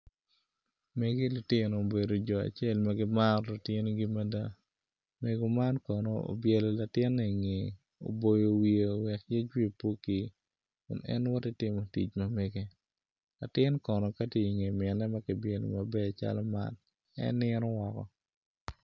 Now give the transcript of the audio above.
Megi lutino obedo jo acel ma gimaro lutinigi mada mego man kono obyelo latine inge oboyo wiyeo wek yec wiye pe okir kun en woti timo tic ma mege latin kon ka tye inge mine ma kibyelo maber calo man en nino woko.